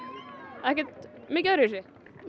ekkert mikið öðruvísi